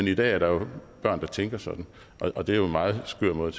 i dag er der jo børn der tænker sådan og det er en meget skør måde